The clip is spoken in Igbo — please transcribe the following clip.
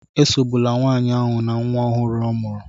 Esogbula nwanyị ahụ na nwa ọhụrụ ọ mụrụ